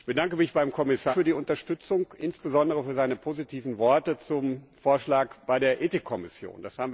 Ich bedanke mich beim Kommissar für die Unterstützung, insbesondere für seine positiven Worte zum Vorschlag bei der Ethik Kommission.